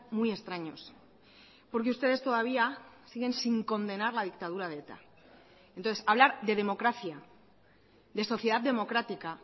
muy extraños porque ustedes todavía siguen sin condenar la dictadura de eta entonces hablar de democracia de sociedad democrática